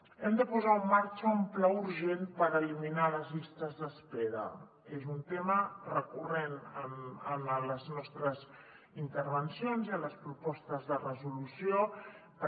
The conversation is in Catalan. hem de posar en marxa un pla urgent per eliminar les llistes d’espera és un tema recurrent en les nostres intervencions i en les propostes de resolució però